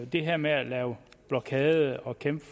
det her med at lave blokade og at kæmpe